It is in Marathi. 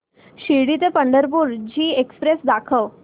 शिर्डी ते पंढरपूर ची एक्स्प्रेस दाखव